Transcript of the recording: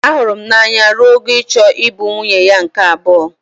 Ahụrụ m n'anya ruo ogo ịchọ ịbụ nwunye ya nke abuo.